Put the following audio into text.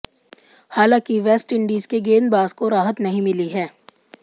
हालांकि वेस्टइंडीज के गेंदबाज को राहत नहीं मिली है